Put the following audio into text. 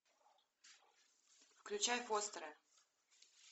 включай постеры